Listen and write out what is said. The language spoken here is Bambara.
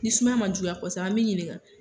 Ni sumaya ma juguya kɔsɛbɛ an m'i ɲininga